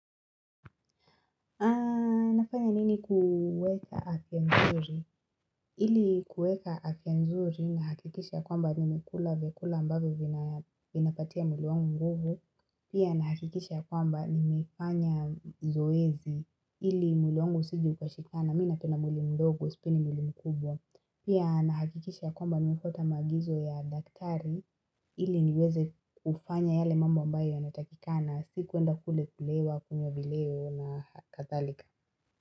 Nafanya nini kuweka afyanzuri? Ili kuweka afya nzuri nahakikisha kwamba nimekula vyakula ambavyo vinapatia mwili wangu nguvu. Pia nahakikisha ya kwamba nimefanya zoezi ili mwili wangu usije ukashikana. Mimu napenda mwili mdogo, sipendi mwili mkubwa. Pia nahakikisha kwamba nimefwata maagizo ya daktari ili niweze kufanya yale mambo ambayo yanatakikana. Sikuenda kule kulewa kunywa vileo na kadhalika.